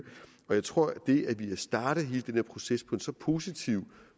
jeg tror at det at vi har startet hele denne proces på en så positiv